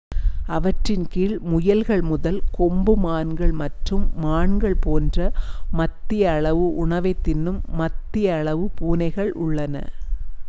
அவற்றின் கீழ் முயல்கள் முதல் கொம்பு மான்கள் மற்றும் மான்கள் போன்ற மத்திய அளவு உணவைத் தின்னும் மத்திய அளவு பூனைகள் உள்ளன